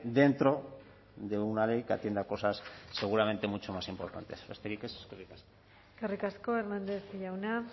dentro de una ley que atienda cosas seguramente mucho más importantes besterik ez eskerrik asko eskerrik asko hernández jauna